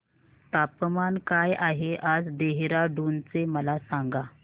तापमान काय आहे आज देहराडून चे मला सांगा